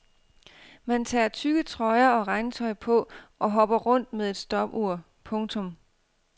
Man tager tykke trøjer og regntøj på og hopper rundt med et stopur. punktum